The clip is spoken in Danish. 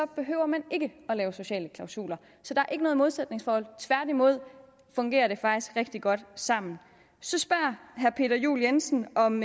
behøver man ikke at lave sociale klausuler så der er ikke noget modsætningsforhold tværtimod fungerer det faktisk rigtig godt sammen så spørger herre peter juel jensen om